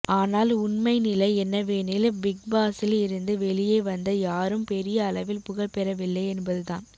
ஆனால் உண்மை நிலை என்னவெனில் பிக்பாஸில் இருந்து வெளியே வந்த யாரும் பெரிய அளவில் புகழ் பெறவில்லை என்பதுதான்